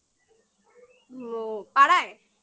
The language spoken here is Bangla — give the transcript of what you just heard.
ও পাড়ায়?